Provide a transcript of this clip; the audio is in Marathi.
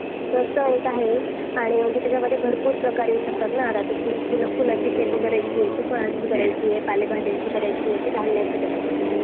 अच्छा बघ मग मला आता सांग तुला जर कॉलेजच नसतं एक चांगलं college नसतं तर वेदिकाच्या college मध्ये gathering सारखे annual function नसते Organize केलेले